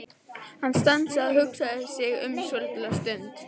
Hann stansaði og hugsaði sig um svolitla stund.